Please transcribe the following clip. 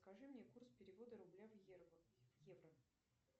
скажи мне курс перевода рубля в евро